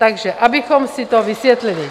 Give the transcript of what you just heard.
Takže abychom si to vysvětlili.